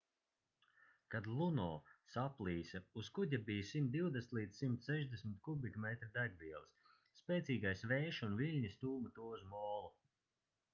kad luno saplīsa uz kuģa bija 120-160 kubikmetri degvielas spēcīgais vējš un viļņi stūma to uz molu